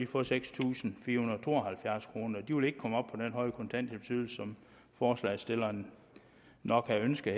få seks tusind fire hundrede og to og halvfjerds kroner og vil ikke komme op på den høje kontanthjælpsydelse som forslagsstillerne nok ønsker